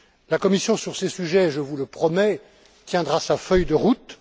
La Commission, sur ces sujets, je vous le promets, tiendra sa feuille de route.